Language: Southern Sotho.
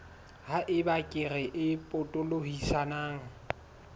ha eba kere e potolohisang